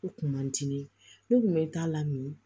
U kun man di ne ye ne kun bɛ n ta la min